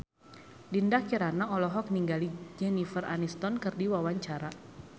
Dinda Kirana olohok ningali Jennifer Aniston keur diwawancara